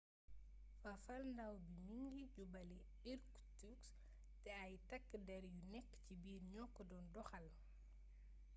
fafalndaaw bi mi ngi jubali irkutsk te ay takk der yu nekk ci biir ñoo ko doon doxal